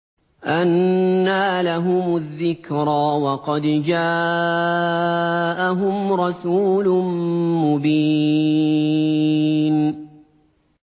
أَنَّىٰ لَهُمُ الذِّكْرَىٰ وَقَدْ جَاءَهُمْ رَسُولٌ مُّبِينٌ